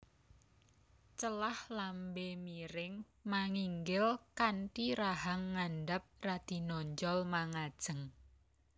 Celah lambé miring manginggil kanthi rahang ngandhap radi nonjol mangajeng